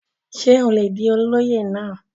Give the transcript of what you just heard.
ṣé ó le di olóyè náà?